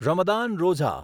Ramadan Roza